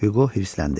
Hüqo hirsləndi.